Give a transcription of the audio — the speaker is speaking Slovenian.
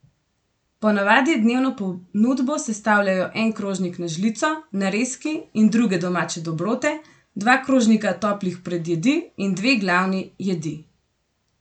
Ponavadi dnevno ponudbo sestavljajo en krožnik na žlico, narezki in druge domače dobrote, dva krožnika toplih predjedi in dve glavni jedi.